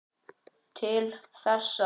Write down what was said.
Til þessa.